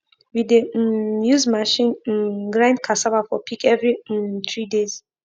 we dey um use machine um grind cassava for pig every um three days